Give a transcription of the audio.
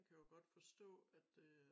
Kan jo godt forstå at øh